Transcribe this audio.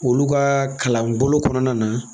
Olu kaa kalanbolo kɔnɔna na